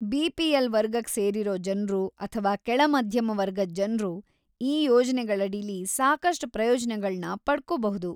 BPL. ವರ್ಗಕ್‌ ಸೇರಿರೋ ಜನ್ರು ಅಥ್ವಾ ಕೆಳ ಮಧ್ಯಮ ವರ್ಗದ್ ಜನ್ರು ಈ ಯೋಜ್ನೆಗಳಡಿಲಿ ಸಾಕಷ್ಟ್ ಪ್ರಯೋಜನಗಳ್ನ ಪಡ್ಕೋಬಹುದು.